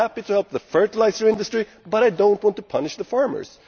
I am happy to help the fertiliser industry, but I do not want to punish the farmers.